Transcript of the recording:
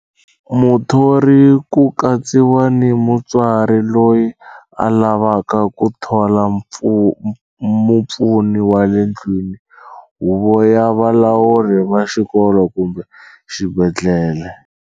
Muthori ku katsiwa ni mutswari loyi a lavaka ku thola mupfuni wa le ndlwini, huvo ya valawuri va xikolo kumbe xibendhlele.